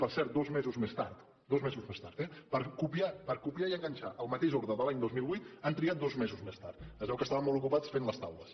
per cert dos mesos més tard dos mesos més tard eh per copiar i enganxar la mateixa ordre de l’any dos mil vuit han trigat dos mesos més tard es veu que estaven ocupats fent les taules